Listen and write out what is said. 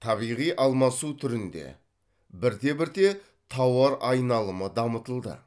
табиғи алмасу түрінде бірте бірте тауар айналымы дамытылды